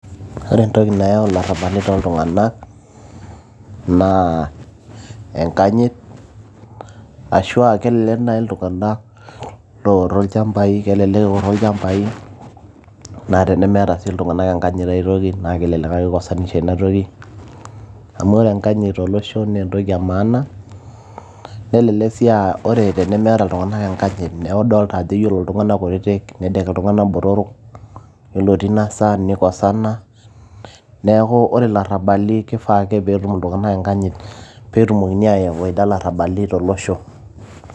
ore entoki nayau ilarrabali toltung'anak naa enkanyit ashua kelelek naaji iltung'anak loorro ilchambai, kelelek eorro ilchambai naa tenemeeta sii iltung'anak enkanyit aitoki naa kelelek ake ikosanisha ina toki amu ore enkanyit tolosho naa entoki e maana nelelek sii uh, ore tenemeeta iltung'anak enkanyit oodolta ajo ore iltung'anak kutitik nedek iltung'anak botorok yiolo tina saa nikosana neeku ore ilarrabali naa kifaa ake netum iltung'anak enkanyit peetumokini aawaita ilarrabali tolosho.